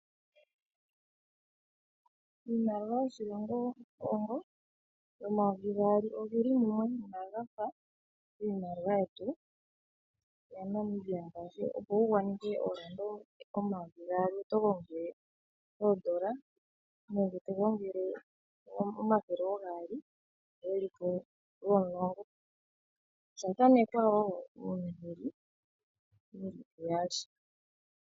Iimaliwa yoshilongo Congo, omayovi gaali oge li mumwe inaga fa iimaliwa yetu ya Namibia. Opo wu gwanithe oodola dhaNamibia omayovi gaali oto gongele oodola nenge omathele oogaali ge li mumwe lwomulongo. Osha thanekwa wo uunduli wu li uyali.